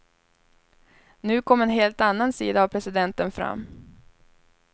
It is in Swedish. Nu kom en helt annan sida av presidenten fram.